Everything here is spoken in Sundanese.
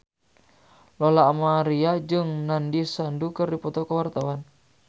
Lola Amaria jeung Nandish Sandhu keur dipoto ku wartawan